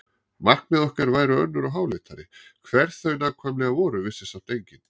Markmið okkar væru önnur og háleitari, hver þau nákvæmlega voru vissi samt enginn.